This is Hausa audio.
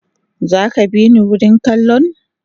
Zaka bini wurin kallon?